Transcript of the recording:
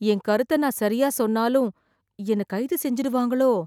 என் கருத்தை நான் சரியா சொன்னாலும், என்னை கைது செஞ்சிடுவாங்களோ..